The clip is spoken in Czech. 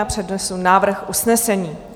Já přednesu návrh usnesení.